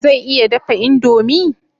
Zai iya dafa indomi?